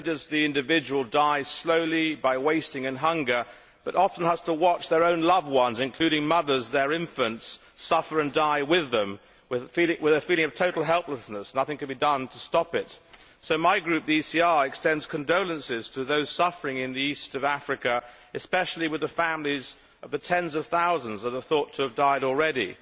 Not only does the individual die slowly by wasting and hunger, but often has to watch their own loved ones, including mothers their infants, suffer and die with them, with a feeling of total helplessness that nothing can be done to stop it. So my Group, the ECR, extends condolences to those suffering in the East of Africa, and especially the families of the tens of thousands that are thought to have died already.